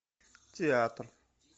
театр